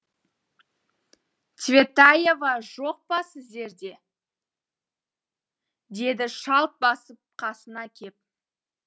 цветаева жоқ па сіздерде деді шалт басып қасына кеп